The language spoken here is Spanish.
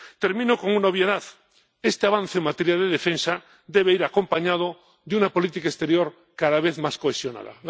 Termino con una obviedad este avance en materia de defensa debe ir acompañado de una política exterior cada vez más cohesionada.